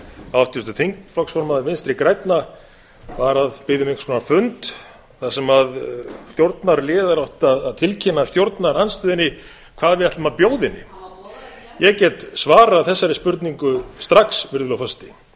háttvirtur þingflokksformaður vinstri grænna var að biðja um einhvers konar fund þar sem stjórnarliðar áttu að tilkynna stjórnarandstöðunni hvað við ætlum að bjóða henni ég get svarað þessari spurningu strax virðulegur forseti